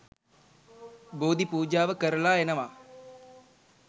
බෝධි පූජාව කරලා එනවා.